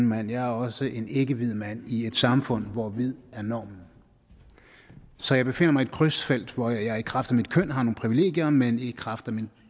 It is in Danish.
mand jeg er også en ikkehvid mand i et samfund hvor hvid er normen så jeg befinder mig i et krydsfelt hvor jeg i kraft af mit køn har nogle privilegier men i kraft af min